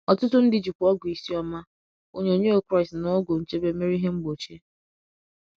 Ọtụtụ ndị jikwa ọgwụ isi ọma, onyonyo Kraịst, na ọgwụ nchebe mere ihe mgbochi.